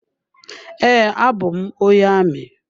Ee, abụ m onye amị.